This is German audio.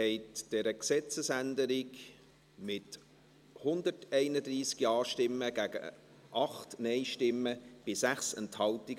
Sie haben dieser Gesetzesänderung zugestimmt, mit 131 Ja- gegen 8 Nein-Stimmen bei 6 Enthaltungen.